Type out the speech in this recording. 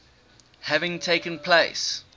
having taken place